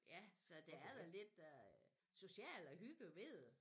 Ja så det er da lidt øh socialt og hygge ved det